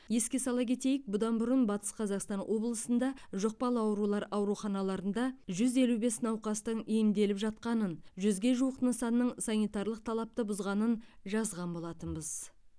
еске сала кетейік бұдан бұрын батыс қазақстан облысында жұқпалы аурулар ауруханаларында жүз елу бес науқастың емделіп жатқанын жүзге жуық нысанның санитарлық талапты бұзғанын жазған болатынбыз